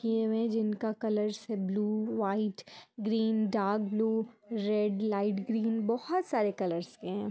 ये इमेज जिनका colour blue white green dark blue red light green बहुत सारे कलर के है।